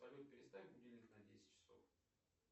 салют переставь будильник на десять часов